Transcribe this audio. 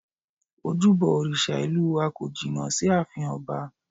Ojúbọ òrìṣà ìlú wa kò jìnnà sí ààfin ọba